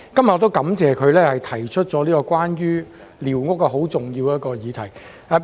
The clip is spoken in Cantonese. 我感謝他今天提出寮屋這項重要的議題。